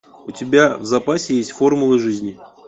у тебя в запасе есть формулы жизни